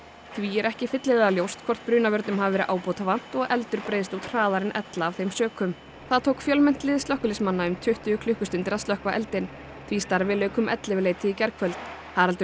því er ekki fyllilega ljóst hvort brunavörnum hafi verið ábótavant og eldur breiðst hraðar út en ella af þeim sökum það tók fjölmennt lið slökkviliðsmanna um tuttugu klukkustundir að slökkva eldinn því starfi lauk um ellefuleytið í gærkvöld Haraldur